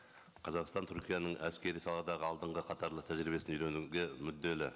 қазақстан түркияның әскери саладағы алдынғы қатарлы тәжірибесін үйренуге мүдделі